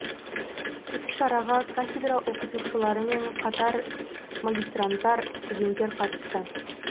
іс шараға кафедра оқытушылары мен қатар магистранттар студенттер қатысты